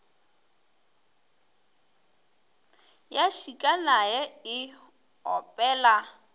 ya šika naye e opela